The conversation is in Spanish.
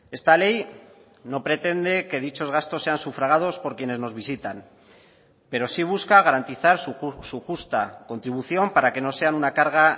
esta ley no pretende que dichos gastos sean sufragados por quienes nos visitan pero sí busca garantizar su justa contribución para que no sean una carga